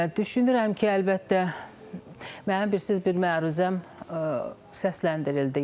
Və düşünürəm ki, əlbəttə, mənim bilirsiz, bir məruzəm səsləndirildi.